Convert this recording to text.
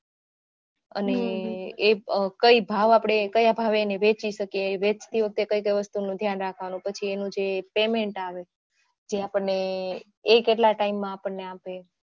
અને એ કયા ભાવે આપણે વેચી શકીયે વેચતી વખતે કઈ વસ્તુ નું ધ્યાન રાખવાનું છે પછી એનું જે payment આવે એ આપણે કેટલા time માં આપણે આપે